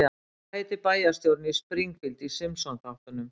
Hvað heitir bæjarstjórinn í Springfield í Simpsonþáttunum?